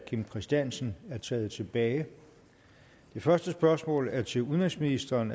kim christiansen er taget tilbage det første spørgsmål er til udenrigsministeren